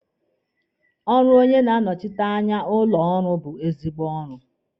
Ọrụ onye na-anọshite anya ụlọ ọrụ bụ ezigbo ọrụ.